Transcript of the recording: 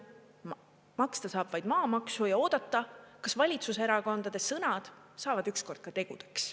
Maksta saab vaid maamaksu ja oodata, kas valitsuserakondade sõnad saavad ükskord ka tegudeks.